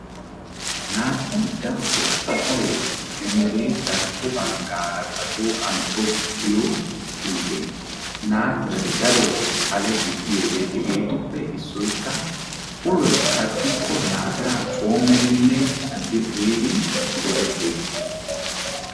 Naatiray darotoo asay emere darkko baggaara ba shooqan tokkiyo puute. Naatiray darobawu xale gidiyode hegeetuppe issoykka uloy sakkikko naatiraa coommidinne caddi uyidi go'etteettees.